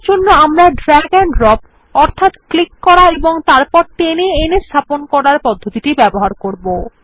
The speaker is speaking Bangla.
এরজন্য আমরা দ্রাগ এন্ড ড্রপ অর্থাৎ ক্লিক করা এবং তারপর টেনে এনে স্থাপন করার পদ্ধতিটির ব্যবহার করব